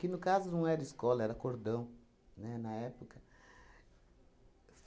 Que, no caso, não era escola, era cordão, né, na época.